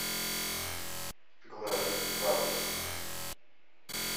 глэр запись